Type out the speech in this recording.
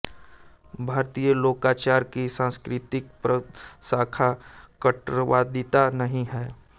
भारतीय लोकाचार की सांस्कृतिक प्रशाखा कट्टरवादिता नहीं है